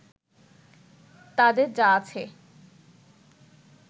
তাদের যা আছে